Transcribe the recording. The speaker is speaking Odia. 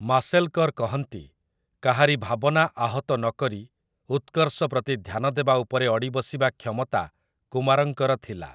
ମାଶେଲ୍‌କର୍‌ କହନ୍ତି, କାହାରି ଭାବନା ଆହତ ନକରି ଉତ୍କର୍ଷ ପ୍ରତି ଧ୍ୟାନ ଦେବା ଉପରେ ଅଡ଼ିବସିବା କ୍ଷମତା କୁମାରଙ୍କର ଥିଲା ।